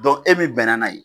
e min bɛnna n'a yen